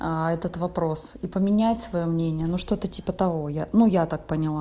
а этот вопрос и поменять своё мнение но что-то типа того ну я так поняла